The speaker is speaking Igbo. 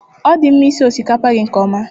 Ọ dị mma sie osikapa gị nke ọma